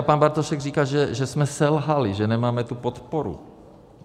A pan Bartošek říká, že jsme selhali, že nemáme tu podporu.